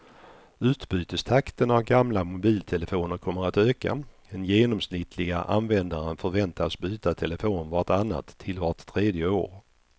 Utbytestakten av gamla mobiltelefoner kommer att öka, den genomsnittliga användaren förväntas byta telefon vart annat till vart tredje år.